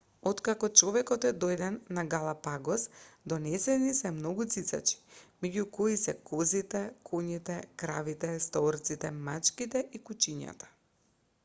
откако човекот е дојден на галапагос донесени се многу цицачи меѓу кои се козите коњите кравите стаорците мачките и кучињата